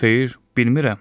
Xeyr, bilmirəm.